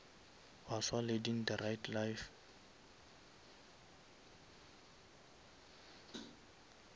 baswa leading the right life